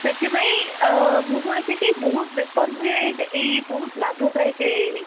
ସେଥିପାଇଁ ମୁଁ ଶୁଣିଛି କି ବହୁତ ବେପାର ହୁଏ and ଏଇ ବହୁତ ଲାଭ ଦାଯକ ଏଇ